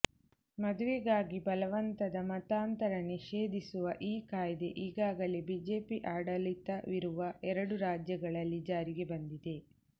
ಮದುವೆಗಾಗಿ ಬಲವಂತದ ಮತಾಂತರ ನಿಷೇಧಿಸುವ ಈ ಕಾಯ್ದೆ ಈಗಾಗಲೇ ಬಿಜೆಪಿ ಆಡಳಿತವಿರುವ ಎರಡು ರಾಜ್ಯಗಳಲ್ಲಿ ಜಾರಿಗೆ ಬಂದಿದೆ